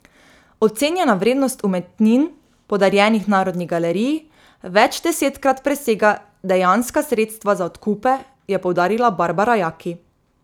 Ocenjena vrednost umetnin, podarjenih Narodni galeriji, večdesetkrat presega dejanska sredstva za odkupe, je poudarila Barbara Jaki.